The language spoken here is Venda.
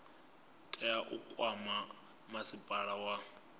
tea u kwama masipala wa